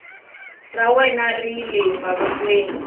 ra wena ri le mavokweni